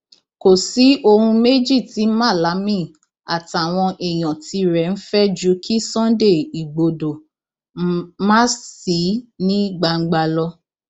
kò sí ohun méjì tí malami àtàwọn èèyàn tirẹ ń fẹ ju kí sunday igbodò má sì ní gbangba lọ